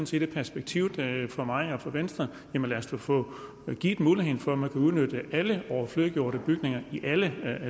set er perspektivet for mig og for venstre nemlig lad os da få givet muligheden for at man kan udnytte alle overflødiggjorte bygninger i alle